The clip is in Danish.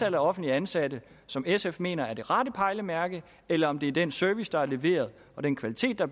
af offentligt ansatte som sf mener er det rette pejlemærke eller om det er den service der er leveret og den kvalitet der